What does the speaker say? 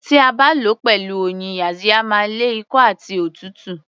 Tí a bá lò ó pẹ̀lú oyin yaxiya máa ń lé ikọ́ àti òtútù